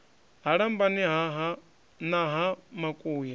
ha lambani na ha makuya